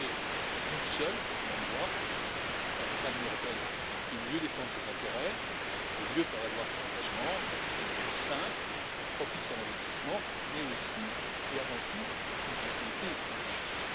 Parler d'une seule et même voix permettra à l'Union européenne de mieux défendre ses intérêts, de mieux faire valoir ses engagements une fiscalité simple, propice à l'investissement, mais aussi, et avant tout, une fiscalité juste.